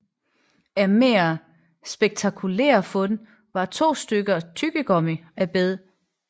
Af mere spektakulære fund var to stykker tyggegummi af beg